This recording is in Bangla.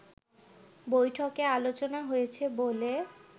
বৈঠকে আলোচনা হয়েছে বলে